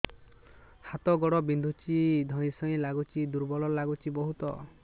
ହାତ ଗୋଡ ବିନ୍ଧୁଛି ଧଇଁସଇଁ ଲାଗୁଚି ଦୁର୍ବଳ ଲାଗୁଚି ବହୁତ